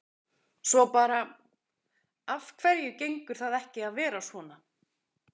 Svo bara, af hverju gengur það ekki að vera svona?